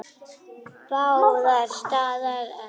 Báðar standa enn.